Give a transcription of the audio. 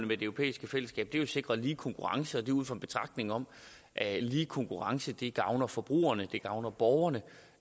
med det europæiske fællesskab er jo at sikre lige konkurrence og det er ud fra en betragtning om at lige konkurrence gavner forbrugerne det gavner borgerne